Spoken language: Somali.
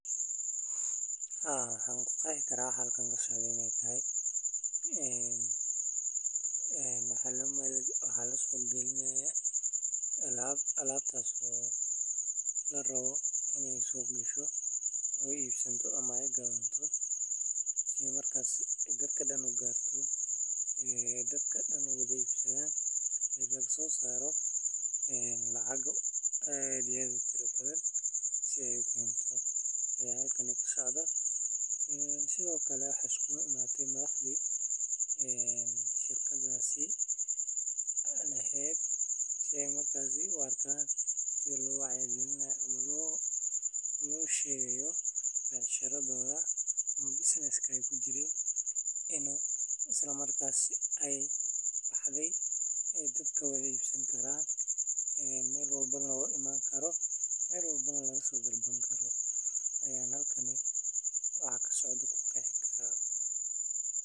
Waaxda soosaarista beeraha waa qayb muhiim ah oo ka mid ah waaxyaha horumarinta dhaqaalaha iyo cuntada ee waddan kasta. Waaxdani waxay ka shaqeysaa beeralayda taageeridda, abuurka tayeysan, qalabka beeraleyda, waraabka, tababarrada farsamada iyo kor u qaadidda wax-soo-saarka dalagyada sida galleyda, digirta, masagada, iyo khudaarta kale. Ujeeddada waaxdu waa in la kordhiyo wax-soosaarka beeraleyda.